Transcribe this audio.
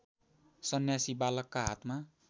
सन्यासी बालकका हातमा